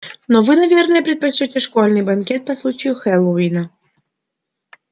но вы наверное предпочтёте школьный банкет по случаю хэллоуина